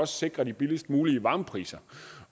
sikre de billigst mulige varmepriser